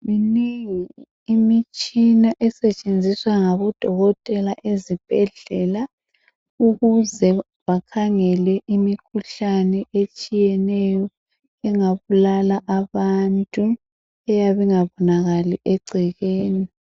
Minengi imitshina esetshenziswa ngabodokotela ezibhedlela ukuze bakhangele imikhuhlane etshiyeneyo engabulala abantu eyabe ingabonakali egcekeni.